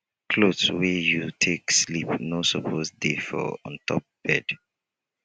cloth wey you take sleep no suppose dey for ontop bed